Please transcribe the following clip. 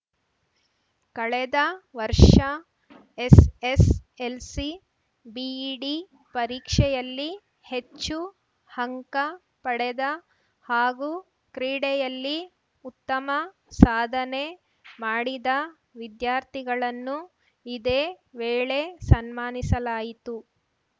ಕಳೆದ ವರ್ಷ SSLC BEd ಪರೀಕ್ಷೆಯಲ್ಲಿ ಹೆಚ್ಚು ಅಂಕ ಪಡೆದ ಹಾಗೂ ಕ್ರೀಡೆಯಲ್ಲಿ ಉತ್ತಮ ಸಾಧನೆ ಮಾಡಿದ ವಿದ್ಯಾರ್ಥಿಗಳನ್ನು ಇದೇ ವೇಳೆ ಸನ್ಮಾನಿಸಲಾಯಿತು